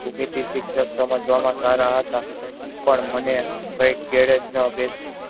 બીજી શિક્ષક સમજવા માં સારા હતા પણ મને કાયિક કેડે કે અભ્યાસ